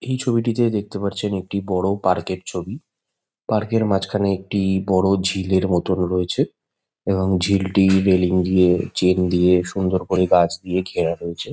এই ছবিটিতে দেখতে পাচ্ছেন একটি বড়ো পার্ক -এর ছবি পার্ক -এর মাঝখানে একটি-ই বড়ো ঝিলের মতো রয়েছে এবং ঝিলটি রেলিং দিয়ে চেন দিয়ে সুন্দর করে গাছ দিয়ে ঘেরা রয়েছে।